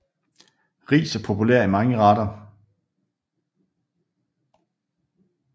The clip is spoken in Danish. Ris er populær i mange retter